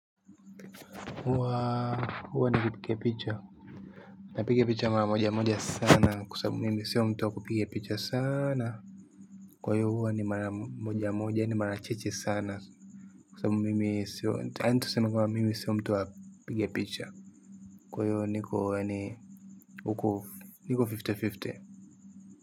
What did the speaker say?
Huwa nikipiga picha napiga picha mara moja moja sana kwa sababu mimi sio mtu wa kupiga picha sana kwa hiyo huwa ni mara moja moja ni mara chache sana kwa sababu mimi sio mtu wa kupiga picha kwa hiyo niko yaani huku niko fifty fifty.